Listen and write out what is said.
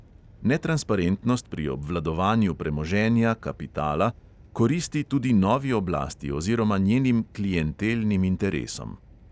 Netransparentnost pri obvladovanju premoženja, kapitala, koristi tudi novi oblasti oziroma njenim klientelnim interesom.